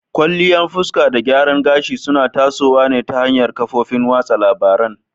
Kwalliya fuska da gyaran gashi suna tasowa ta hanyar kafofin watsa labarun.